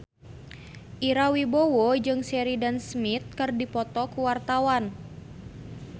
Ira Wibowo jeung Sheridan Smith keur dipoto ku wartawan